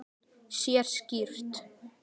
Sér skýrt.